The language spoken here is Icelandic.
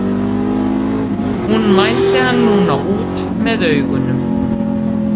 Hún mældi hann núna út með augunum.